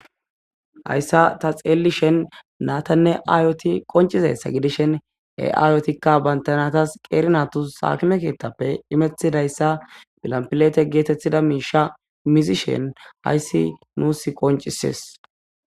hayssa ta xeelishen natanne aayoti qoncizessa gidishen e7aayotikka bayntanatas qeerinatu saakime keethtappe imetidayssa bilampilete geetetthida miisha mizishen ayssi nuus qoncises